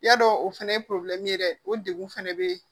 Ya dɔ o fɛnɛ ye ye dɛ o degun fɛnɛ be yen